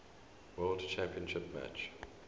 world championship match